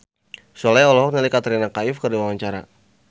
Sule olohok ningali Katrina Kaif keur diwawancara